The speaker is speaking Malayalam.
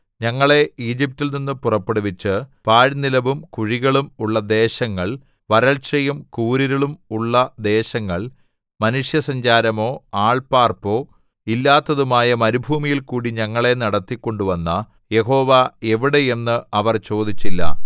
ഞങ്ങളെ ഈജിപ്റ്റിൽനിന്നു പുറപ്പെടുവിച്ച് പാഴ്നിലവും കുഴികളും ഉള്ള ദേശങ്ങൾ വരൾചയും കൂരിരുളും ഉള്ള ദേശങ്ങൾ മനുഷ്യസഞ്ചാരമോ ആൾപാർപ്പോ ഇല്ലാത്തതുമായ മരുഭൂമിയിൽക്കൂടി ഞങ്ങളെ നടത്തി കൊണ്ടുവന്ന യഹോവ എവിടെ എന്ന് അവർ ചോദിച്ചില്ല